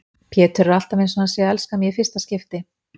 Pétur er alltaf einsog hann sé að elska mig í fyrsta skipti.